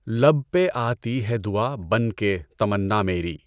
لب پہ آتی ہے دعا بن کے تمنا میری